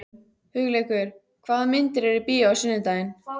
Hugleikur, hvaða myndir eru í bíó á sunnudaginn?